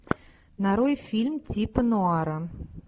нарой фильм типа нуара